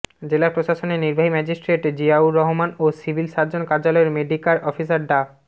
জেলা প্রশাসনের নির্বাহী ম্যাজিস্ট্রেট জিয়াউর রহমান ও সিভিল সার্জন কার্যালয়ের মেডিক্যার অফিসার ডা